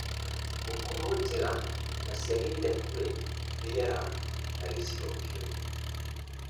gũkorwo njega na ciagĩrĩire kũrĩ rĩera na gĩcigo kĩu.